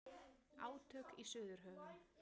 Átök í Suðurhöfum